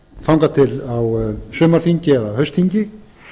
þangað til á sumarþingi eða haustþingi